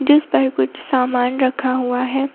जिस पर कुछ सामान रखा हुआ हैं।